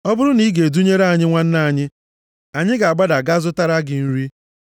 Ọ bụrụ na ị ga-edunyere anyị nwanne anyị, anyị ga-agbada gaa zụtara gị nri.